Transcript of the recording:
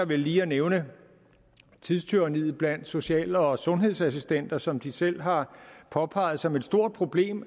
vel lige at nævne tidstyranniet blandt social og sundhedsassistenter som de selv har påpeget som et stort problem